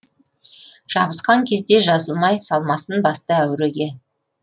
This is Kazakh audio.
жабысқан кезде жазылмай салмасын басты әуреге